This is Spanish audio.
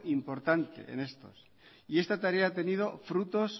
importante en estos y esta tarea ha tenido frutos